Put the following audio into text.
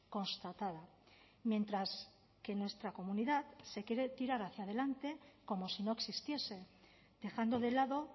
constatada mientras que en nuestra comunidad se quiere tirar hacia adelante como si no existiese dejando de lado